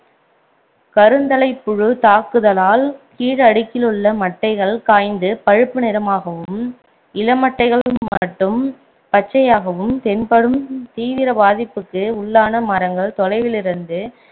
கருந்தலைப்புழு தாகுதலால் கீழ் அடுக்கிலுள்ள மட்டைகள் காய்ந்து பழுப்பு நிறமாகவும் இளமட்டைகள் மட்டும் பச்சையாகவும் தென்படும் தீவிர பாதிப்புக்கு உள்ளான மரங்கள் தொலைவிலிருந்து